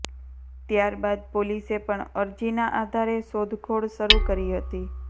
ત્યાર બાદ પોલીસે પણ અરજીના આધારે શોધખોળ શરૂ કરી હતી